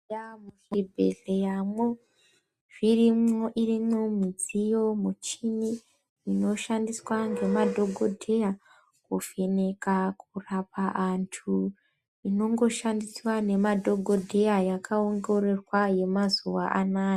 Eya muchi bhehleram wo zvirimwo irimo mudziyo muchini inoshandiswa ngemadhokodheya kuvheneka kurapa antu uno ngoshandiswa ngema dhokodheya yaka ongororwa yema zuwa anaya.